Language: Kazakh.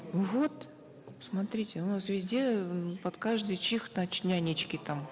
вот смотрите у нас везде э под каждый чих значит нянечки там